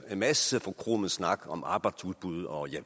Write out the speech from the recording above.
masse forkromet snak om arbejdsudbud og jeg